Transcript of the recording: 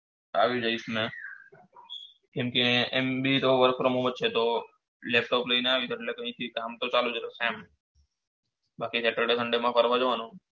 કેમકે એમ્ભી તો work from home જ છે તો laptop લીન આય જે કામ તો ચાલુ જ રેસે એમ બાકી saturday Sunday માં ફરવા જવાનું